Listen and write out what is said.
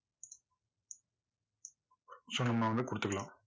so நம்ம வந்து கொடுத்துக்கலாம்.